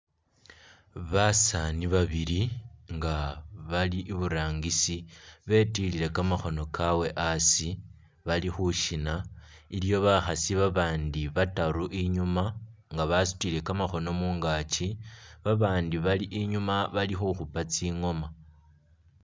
Basaani babili nga bali i'burangisi betilile kamakhoono kawe a'asi bali khushina, iliwo bakhaasi babandi bataru i'nyuma nga basutile kamakhoono mungaki, babandi bali i'nyuma bali khukhupa tsingooma